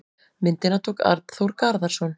Myndina tók Arnþór Garðarsson.